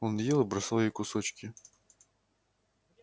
он ел и бросал ей кусочки